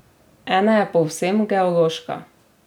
Ena je povsem geološka.